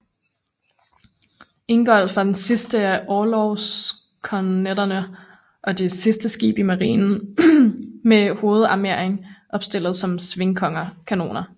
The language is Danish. Ingolf var den sidste af orlogsskonnerterne og det sidste skib i Marinen med hovedarmeringen opstillet som svingkanoner